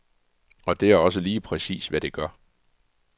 Og det er også lige præcis, hvad det gør.